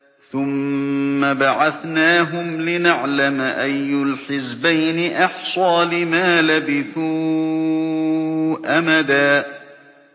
ثُمَّ بَعَثْنَاهُمْ لِنَعْلَمَ أَيُّ الْحِزْبَيْنِ أَحْصَىٰ لِمَا لَبِثُوا أَمَدًا